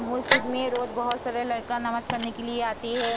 मोस्जिद में रोज बहोत सारे लड़का नमाज़ पढ़ने के लिए आते है ।